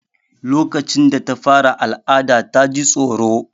Lokacin da ta fara al'ada ta ji tsoro.